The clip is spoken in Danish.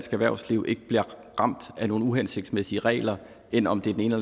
erhvervsliv ikke bliver ramt af nogle uhensigtsmæssige regler end om det er den ene